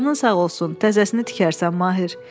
Canın sağ olsun, təzəsini tikərsən, Mahir.